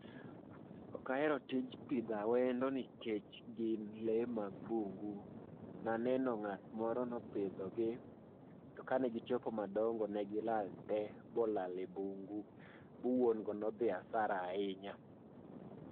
Okahero tij pidho awendo nikech gin lee mag bungu. Naneno ng'at moro nopidho gi, to ka ne gichopo madongo ne gilal tee bolal e bungu bu wuon go nodhi hasara ahinya.